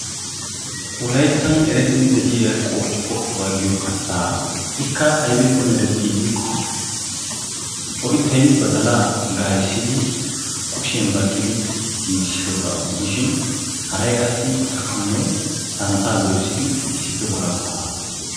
Wolayttan erettidi de'iya qoocciqqooccuwa giyo kattaa ikka aybippe mereti giikko oyttay baddaalaa ga'iissidi kushshiyan baqqidi giggissidooga gidishin haray qassi ashuwanne santtaa doyssidi issippe walkkoogaa.